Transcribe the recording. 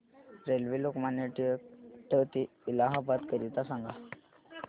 railway Lokmanya Tilak T ते इलाहाबाद करीता सांगा